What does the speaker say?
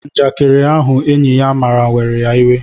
Njakiri ahụ enyị ya mara were ya iwe